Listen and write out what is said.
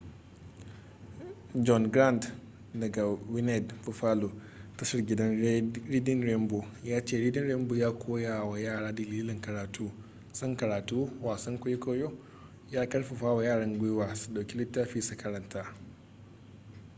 john grant daga wned buffalo tashar gida ta reading rainbow ya ce reading rainbow ya koya wa yara dalilin karatu ...son karatu - [wasan kwaikwayo] ya karfafa wa yara gwiwa su dauki littafi su karanta.